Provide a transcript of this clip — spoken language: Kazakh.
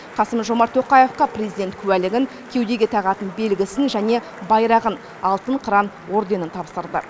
қасым жомарт тоқаевқа президент куәлігін кеудеге тағатын белгісін және байрағын алтын қыран орденін тапсырды